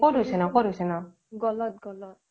ক'ত হৈছে ক'ত হৈছে নো